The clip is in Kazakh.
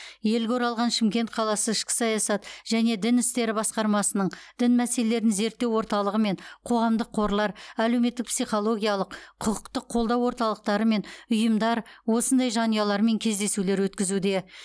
елге оралған шымкент қаласы ішкі саясат және дін істері басқармасының дін мәселелерін зерттеу орталығы мен қоғамдық қорлар әлеуметтік психологиялық құқықтық қолдау орталықтары мен ұйымдар осындай жанұялармен кездесулер өткізуде